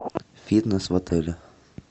фитнес в отеле